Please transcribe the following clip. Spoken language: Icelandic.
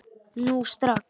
Nú strax!